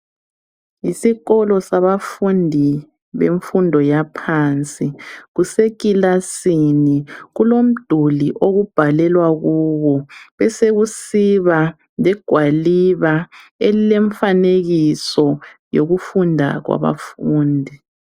Isikolo sabafundi bemfundo yaphansi kusekilasini kulomduli okubhalelwa kuwo besekusiba legwaliba elikemfanekiso yokufunda kwabafundi.